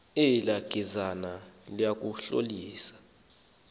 elaa gezazana lingunojaholo